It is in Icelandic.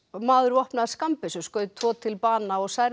maður vopnaður skammbyssu skaut tvo til bana og særði